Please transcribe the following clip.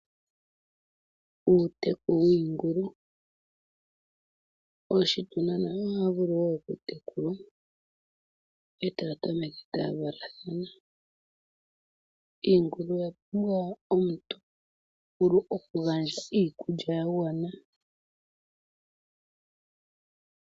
Uuteku wingulu, oshituna nayo ohaya vulu okutekulwa etaya tameke taya valathana. Iingulu oya pumbwa omuntu tavulu okugandja iikulya ya gwana.